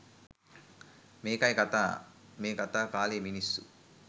මේකයි කතාව මේ කතා කාලයේ මිනිස්සු